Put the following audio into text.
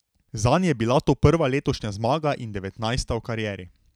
Zanj je bila to prva letošnja zmaga in devetnajsta v karieri.